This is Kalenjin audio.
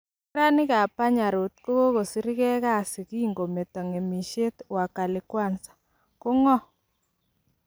Neranik ab 'panya road' kogokosirgei kasii kigometo ng'eemisiet 'wakali kwanza': ko ng'oo?